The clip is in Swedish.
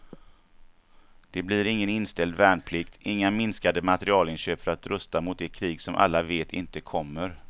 Det blir ingen inställd värnplikt, inga minskade materielinköp för att rusta mot det krig som alla vet inte kommer.